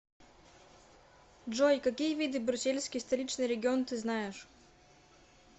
джой какие виды брюссельский столичный регион ты знаешь